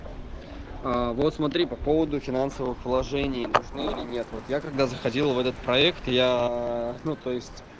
вот смотри по поводу финансовых вложений нужны или нет вот я когда заходил в этот проект я ну то есть